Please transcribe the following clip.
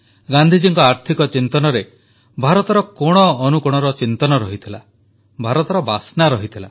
ଗାନ୍ଧିଜୀଙ୍କ ଆର୍ଥିକ ଚିନ୍ତନରେ ଭାରତର କୋଣଅନୁକୋଣର ଚିନ୍ତନ ରହିଥିଲା ଭାରତର ବାସ୍ନା ରହିଥିଲା